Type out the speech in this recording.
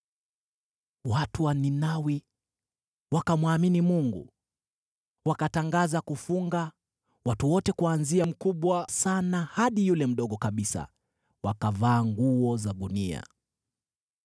Watu wa Ninawi wakamwamini Mungu, wakatangaza kufunga, watu wote kuanzia mkubwa sana hadi yule mdogo kabisa, wakavaa nguo za gunia.